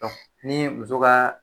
ni muso ka